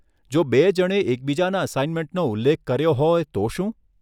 જો બે જણે એકબીજાના અસાઇનમેન્ટનો ઉલ્લેખ કર્યો હોય તો શું?